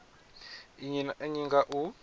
nnyi na nnyi nga u